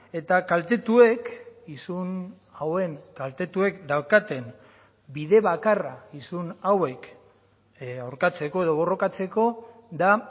eta kaltetuek isun hauen kaltetuek daukaten bide bakarra isun hauek aurkatzeko edo borrokatzeko da